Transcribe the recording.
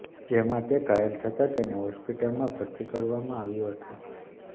જેમાં તે ઘાયલ થતા તેને હોસ્પિટલમાં ભરતી કરવામાં આવ્યો હતો